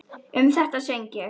Um þetta söng ég: